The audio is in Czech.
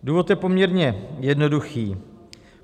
Důvod je poměrně jednoduchý.